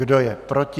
Kdo je proti?